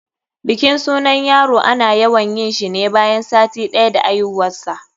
bikin sunan yaro ana yawan yinshi ne bayan sati ɗaya da aihuwarshi.